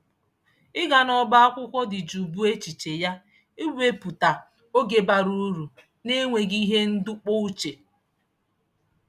Ịga n'ọba akwụkwọ dị jụụ bụ echiche ya ịwepụta oge bara uru n'enweghị ihe ndọpụ uche.